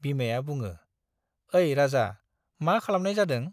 बिमाया बुङो, ऐ राजा, मा खालामनाय जादों ?